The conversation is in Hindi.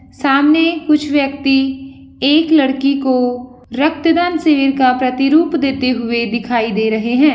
सामने कुछ व्यक्ति एक लड़की को रक्तदान सिविल का प्रतिरूप देते हुए दिखाई दे रहे है।